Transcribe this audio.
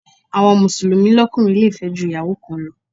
Àwọn Mùsùlùmí lókùnrin le fẹ́ ju Ìyàwó kan lọ.